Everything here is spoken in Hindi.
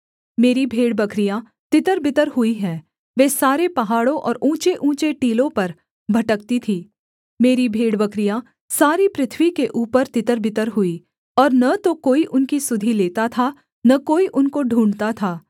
मेरी भेड़बकरियाँ तितरबितर हुई है वे सारे पहाड़ों और ऊँचेऊँचे टीलों पर भटकती थीं मेरी भेड़बकरियाँ सारी पृथ्वी के ऊपर तितरबितर हुई और न तो कोई उनकी सुधि लेता था न कोई उनको ढूँढ़ता था